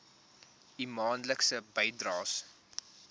u maandelikse bydraes